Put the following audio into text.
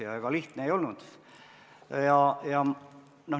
Ega see lihtne ei olnud.